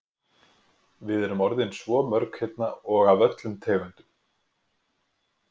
Við erum orðin svo mörg hérna og af öllum tegundum.